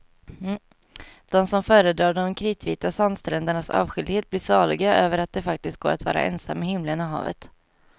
De som föredrar de kritvita sandsträndernas avskildhet blir saliga över att det faktiskt går att vara ensam med himlen och havet.